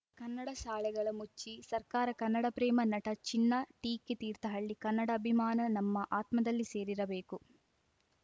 ಕನ್ನಡ ಶಾಲೆಗಳ ಮುಚ್ಚಿ ಸರ್ಕಾರ ಕನ್ನಡಪ್ರೇಮ ನಟ ಚಿನ್ನಾ ಟೀಕೆ ತೀರ್ಥಹಳ್ಳಿ ಕನ್ನಡಾಭಿಮಾನ ನಮ್ಮ ಆತ್ಮದಲ್ಲಿ ಸೇರಿರಬೇಕು